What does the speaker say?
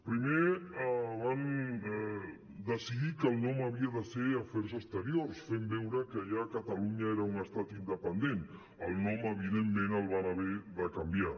primer van decidir que el nom havia de ser afers exteriors fent veure que ja catalunya era un estat independent el nom evidentment el van haver de canviar